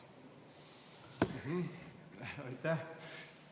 Aitäh!